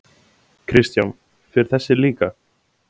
Kristján: Fer þessi líka?